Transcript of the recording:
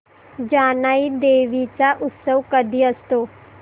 जानाई देवी चा उत्सव कधी असतो